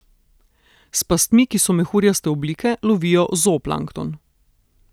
S pastmi, ki so mehurjaste oblike, lovijo zooplankton.